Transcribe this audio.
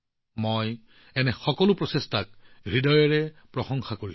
মই এনে সকলো প্ৰচেষ্টাক হৃদয়েৰে প্ৰশংসা কৰো